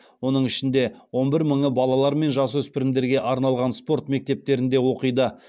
оның ішінде он бір мыңы балалар мен жасөспірімдерге арналған спорт мектептерінде оқиды